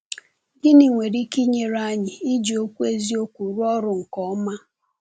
Gịnị nwere ike inyere anyị iji Okwu Eziokwu rụọ ọrụ nke ọma?